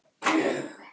Alltaf bók.